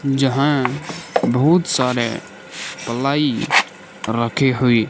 जहां बहुत सारे प्लाई रखी हुई--